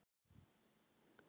Hilmar fór fram á klósett.